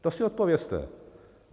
To si odpovězte.